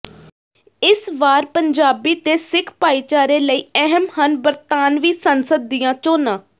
ਇਸ ਵਾਰ ਪੰਜਾਬੀ ਤੇ ਸਿੱਖ ਭਾਈਚਾਰੇ ਲਈ ਅਹਿਮ ਹਨ ਬਰਤਾਨਵੀ ਸੰਸਦ ਦੀਆਂ ਚੋਣਾਂ